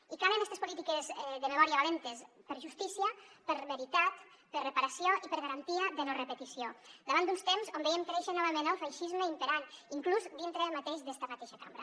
i calen estes polítiques de memòria valentes per justícia per veritat per reparació i per garantia de no repetició davant d’uns temps on veiem créixer novament el feixisme imperant inclús dintre mateix d’esta mateixa cambra